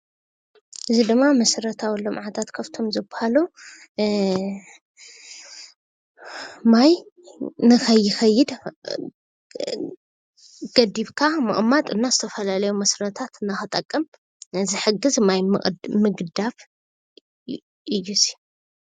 እዚ ምስሊ መስርተ ልምዓት ግድብ ማይ ኮይኑ ንዝተፈላለዩ መስኖን ኤሌትርክ ሓይሊን ይጠቅም።